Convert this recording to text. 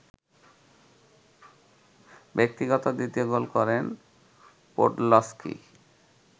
ব্যক্তিগত দ্বিতীয় গোল করেন পোডলস্কি